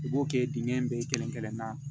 U b'o kɛ dingɛ in bɛɛ kelen kelen na